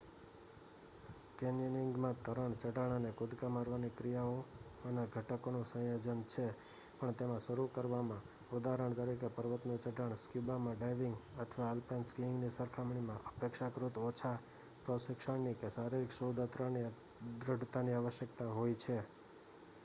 કૅન્યનિંગમાં તરણ ચઢાણ અને કૂદકા મારવાની ક્રિયાઓમાંના ઘટકોનું સંયોજન છે--પણ તેમાં શરૂ કરવામાં ઉદાહરણ તરીકે પર્વતનું ચઢાણ સ્ક્યુબા ડાઇવિંગ અથવા આલ્પાઇન સ્કીઇંગની સરખામણીમાં અપેક્ષાકૃત ઓછા પ્રશિક્ષણની કે શારીરિક સુદૃઢતાની આવશ્યકતા હોય છે